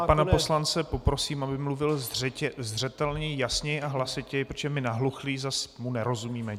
Já pana poslance poprosím, aby mluvil zřetelněji, jasněji a hlasitěji, protože my nahluchlí zase mu nerozumíme.